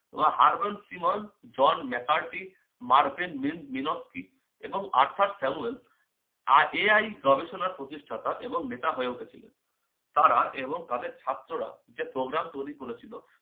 ও hurbble primol jhon mekarti marven mil minokti এবং arthar samwell আর AI গবেষণার প্রতিষ্ঠাতা এবং নেতা হয়ে উঠেছিল। তারা এবং তাদের ছাত্ররা যে programme তৈরি করেছিল